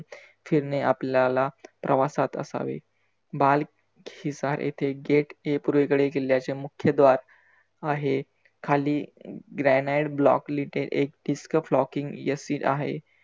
फिरने आपल्याला प्रवासात असावे. बाल शिसार येथे gate A पूर्वेकडील किल्ल्याच्या मुख्यद्वार आहे खाली grenite block lite do come आहे.